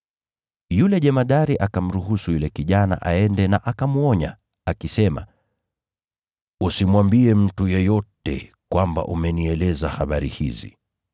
Yule jemadari akamruhusu yule kijana aende na akamwonya, akisema, “Usimwambie mtu yeyote kwamba umenieleza habari hizi.”